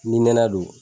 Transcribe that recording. Ni nɛnɛ don